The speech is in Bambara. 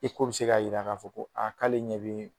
bɛ se k'a jira k'a fɔ ko aa k'ale ɲɛ bɛ